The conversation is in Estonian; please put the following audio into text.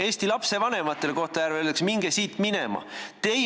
" Eesti lapsevanematele Kohtla-Järvel öeldakse: "Minge siit minema!